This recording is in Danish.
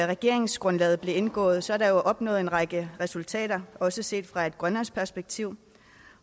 regeringsgrundlaget blev indgået er der opnået en række resultater også set fra et grønlandsk perspektiv